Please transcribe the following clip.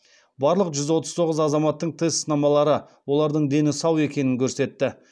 барлық жүз отыз тоғыз азаматтың тест сынамалары олардың дені сау екенін көрсетті